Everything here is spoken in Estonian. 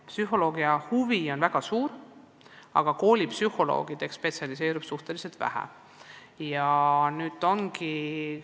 Psühholoogiahuvi on väga suur, aga koolipsühholoogideks spetsialiseerub suhteliselt vähe lõpetanuid.